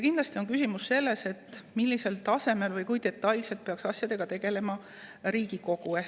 Kindlasti on tähtis, millisel tasemel või kui detailselt peaks asjadega tegelema Riigikogu.